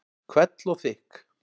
Hvell og þykk.